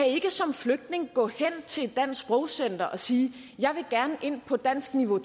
ikke som flygtning gå hen til et dansk sprogcenter og sige jeg vil gerne ind på dansk niveau